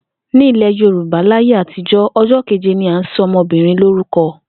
Ní ilè̩ Yorùbá láyé àtijó̩, o̩jó̩ kéje ni à ń so̩ o̩mo̩bìnrin lórúko̩